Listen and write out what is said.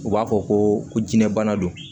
U b'a fɔ ko jinɛ bana don